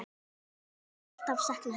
Við munum alltaf sakna hennar.